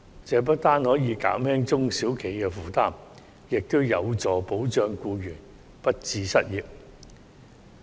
這不單可以減輕中小企的負擔，亦有助保障僱員不致失業。